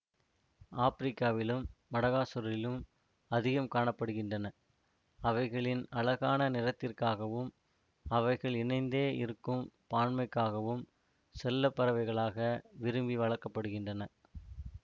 ஆப்ரிக்காவிலும் மடகாசுகரிலும் அதிகம் காண படுகின்றன அவைகளின் அழகான நிறத்திற்காகவும் அவைகள் இணைந்தே இருக்கும் பான்மைக்காகவும் செல்ல பறவைகளாக விரும்பி வளர்க்க படுகின்றன